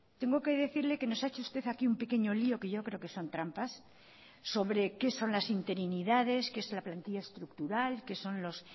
tengo que decirle que nos ha hecho usted aquí un pequeño lío que yo creo que son trampas sobre qué son las interinidades qué es la plantilla estructural qué son los